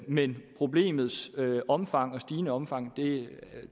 men problemets omfang og stigende omfang